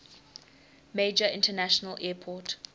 major international airport